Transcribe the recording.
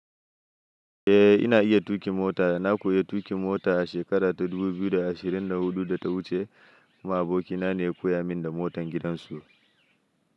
Eh ina iya tuƙi mota, na koyi tuƙi mota a shekarar dubu biyu da ashirin da huɗu da ta wuce. Kuma abokina ne ya koya min da motan gidansu.